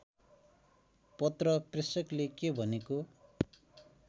पत्र प्रेषकले के भनेको